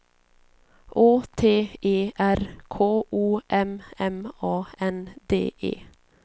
Å T E R K O M M A N D E